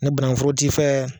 Ntɛ bannkun foro t'i fɛ.